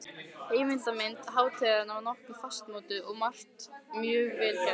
Heildarmynd hátíðarinnar var nokkuð fastmótuð og margt mjög vel gert.